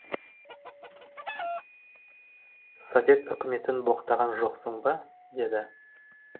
совет үкіметін боқтаған жоқсың ба деді